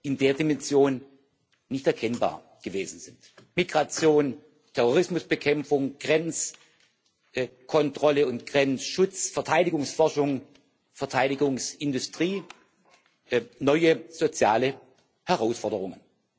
in der Dimension nicht erkennbar gewesen sind Migration, Terrorismusbekämpfung, Grenzkontrolle und Grenzschutz, Verteidigungsforschung, Verteidigungsindustrie, neue soziale Herausforderungen.